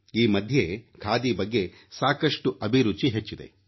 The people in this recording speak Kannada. ಈ ಮಧ್ಯೆ ಖಾದಿ ಬಗ್ಗೆ ಸಾಕಷ್ಟು ಅಭಿರುಚಿ ಹೆಚ್ಚಿದೆ